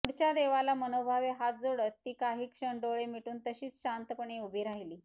पुढच्या देवाला मनोभावे हात जोडत ती काही क्षण डोळे मिटून तशीच शांतपणे उभी राहीली